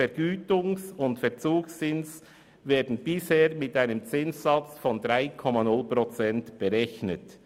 Vergütungs- und der Verzugszins werden bisher mit einem Zinssatz von 3,0 Prozent berechnet.